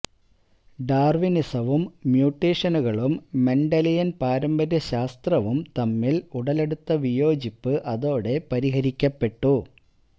ഡാർവിനിസവും മ്യൂട്ടെഷനുകളും മെൻഡലിയൻ പാരമ്പര്യശാസ്ത്രവും തമ്മിൽ ഉടലെടുത്ത വിയോജിപ്പ് അതോടെ പരിഹരിക്കപ്പെട്ടു